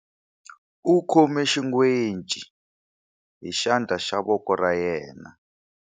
U khome xingwece hi xandla xa voko ra yena.